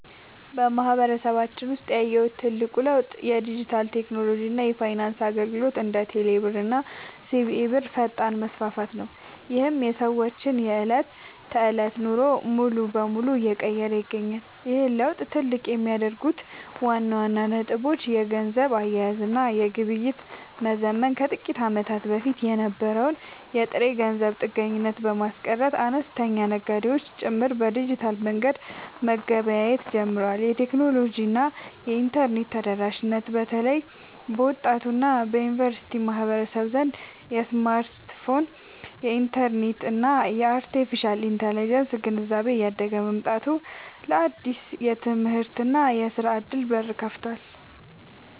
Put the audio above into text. በማህበረሰባችን ውስጥ ያየሁት ትልቁ ለውጥ የዲጂታል ቴክኖሎጂ እና የፋይናንስ አገልግሎቶች (እንደ ቴሌብር እና ሲቢኢ ብር) ፈጣን መስፋፋት ነው፤ ይህም የሰዎችን የዕለት ተዕለት ኑሮ ሙሉ በሙሉ እየቀየረ ይገኛል። ይህን ለውጥ ትልቅ የሚያደርጉት ዋና ዋና ነጥቦች - የገንዘብ አያያዝ እና ግብይት መዘመን፦ ከጥቂት ዓመታት በፊት የነበረውን የጥሬ ገንዘብ ጥገኝነት በማስቀረት፣ አነስተኛ ነጋዴዎች ጭምር በዲጂታል መንገድ መገበያየት ጀምረዋል። የቴክኖሎጂ እና የኢንተርኔት ተደራሽነት፦ በተለይ በወጣቱ እና በዩኒቨርሲቲ ማህበረሰብ ዘንድ የስማርትፎን፣ የኢንተርኔት እና የአርቴፊሻል ኢንተለጀንስ (AI) ግንዛቤ እያደገ መምጣቱ ለአዳዲስ የትምህርትና የሥራ ዕድሎች በር ከፍቷል።